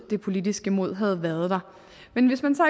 det politiske mod havde været der men hvis man så